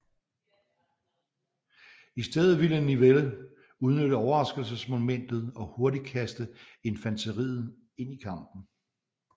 I stedet ville Nivelle udnytte overraskelsesmomentet og hurtigt kaste infanteriet ind i kampen